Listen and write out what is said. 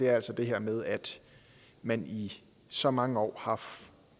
er altså det her med at man i så mange år har